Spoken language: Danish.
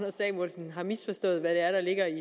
samuelsen har misforstået hvad det er der ligger i